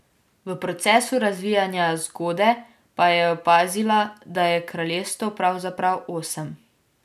V procesu razvijanja zgode pa je opazila, da je kraljestev pravzaprav osem.